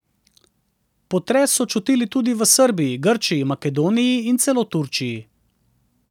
Potres so čutili tudi v Srbiji, Grčiji, Makedoniji in celo Turčiji.